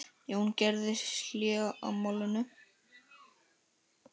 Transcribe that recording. Jón gerði hlé á málinu.